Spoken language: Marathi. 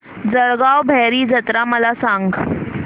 जळगाव भैरी जत्रा मला सांग